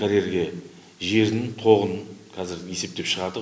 карьерге жердің тоғын қазір есептеп шығардық